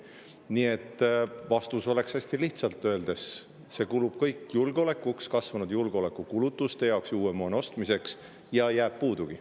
Nii et vastus oleks hästi lihtsalt öeldes see, et see kulub kõik julgeolekuks, kasvanud julgeolekukulutuste jaoks ning uue moona ostmiseks ja jääb puudugi.